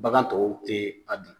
Bagan tɔw tɛ a dun.